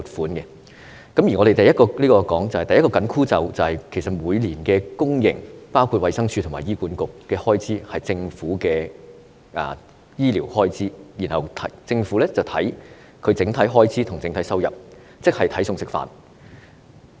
我們經常說，第一個"緊箍咒"，就是每年的公營服務開支，包括衞生署及醫院管理局的醫療開支，要視乎政府的整體收入，即要"睇餸食飯"。